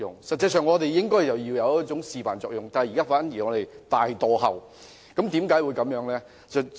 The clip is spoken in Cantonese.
實際上，我們應該起示範作用，但現在反而大落後，為何會這樣呢？